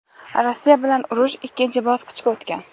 Rossiya bilan urush ikkinchi bosqichga o‘tgan.